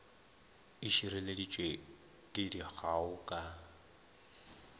e šireleditšwe ke dikgao ka